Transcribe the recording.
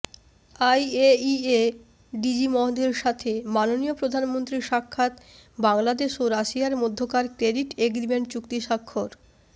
IAEA DG মহোদয়ের সাথে মাননীয় প্রধানমন্ত্রীর সাক্ষাৎ বাংলাদেশ ও রাশিয়ার মধ্যকার ক্রেডিট এগ্রিমেন্ট চুক্তি স্বাক্ষর